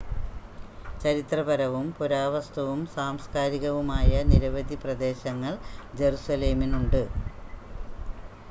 ചരിത്രപരവും പുരാവസ്തുവും സാംസ്കാരികവുമായ നിരവധി പ്രദേശങ്ങൾ ജറുസലേമിനുണ്ട്